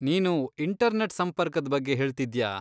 ನೀನು ಇಂಟರ್ನೆಟ್ ಸಂಪರ್ಕದ್ ಬಗ್ಗೆ ಹೇಳ್ತಿದ್ಯಾ?